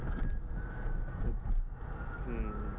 ਅਛ ਹਮ